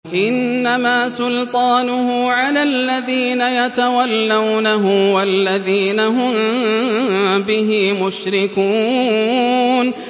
إِنَّمَا سُلْطَانُهُ عَلَى الَّذِينَ يَتَوَلَّوْنَهُ وَالَّذِينَ هُم بِهِ مُشْرِكُونَ